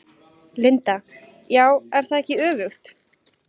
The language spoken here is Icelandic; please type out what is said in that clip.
Linda: Já, er það ekki öfugt?